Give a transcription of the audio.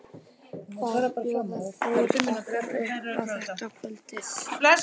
Hvað bjóða þeir okkur upp á þetta kvöldið?